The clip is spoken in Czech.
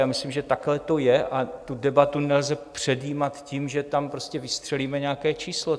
Já myslím, že takhle to je a tu debatu nelze předjímat tím, že tam prostě vystřelíme nějaké číslo.